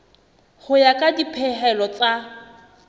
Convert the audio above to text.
ho ya ka dipehelo tsa